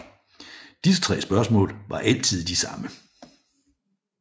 Disse tre spørgsmål var altid de samme